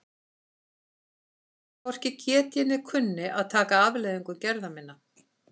Að ég hvorki geti né kunni að taka afleiðingum gerða minna?